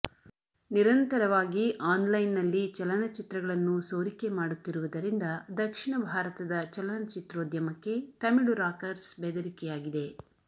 ನಿರಂತರವಾಗಿ ಆನ್ಲೈನ್ನಲ್ಲಿ ಚಲನಚಿತ್ರಗಳನ್ನು ಸೋರಿಕೆ ಮಾಡುತ್ತಿರುವುದರಿಂದ ದಕ್ಷಿಣ ಭಾರತದ ಚಲನಚಿತ್ರೋದ್ಯಮಕ್ಕೆ ತಮಿಳು ರಾಕರ್ಸ್ ಬೆದರಿಕೆಯಾಗಿದೆ